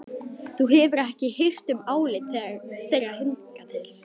Þú hefur ekki hirt um álit þeirra hingað til.